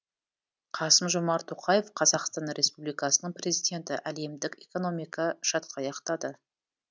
қасым жомарт тоқаев қазақстан республикасының президенті әлемдік экономика шатқаяқтады